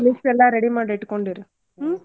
List ಎಲ್ಲಾ ready ಮಾಡಿ ಇಟ್ಕೊಂಡಿರ್ ಹ್ಮ್.